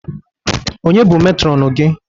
Ọnye bụ Metrọnu gị?